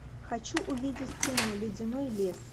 хочу увидеть кино ледяной лес